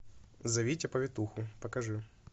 зовите повитуху покажи